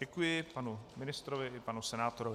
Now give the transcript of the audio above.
Děkuji panu ministrovi i panu senátorovi.